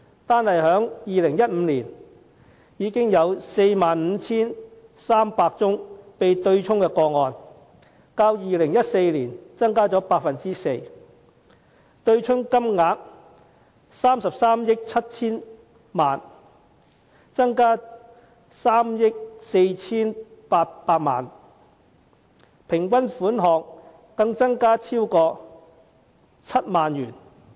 單在2015年便有 45,300 宗被對沖的個案，較2014年增加 4%； 對沖金額達33億 7,000 萬元，增加了3億 4,800 萬元；平均款項更增至超過7萬元。